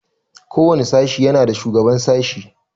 Ko wani sashi yana da shugaban sashi.